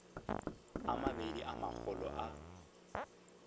a mabedi a magolo a